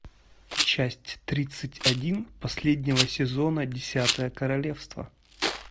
часть тридцать один последнего сезона десятое королевство